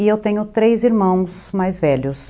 E eu tenho três irmãos mais velhos.